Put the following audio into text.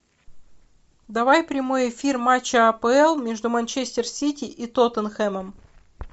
давай прямой эфир матча апл между манчестер сити и тоттенхэмом